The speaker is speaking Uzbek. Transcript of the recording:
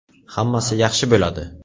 Hammasi yaxshi bo‘ladi.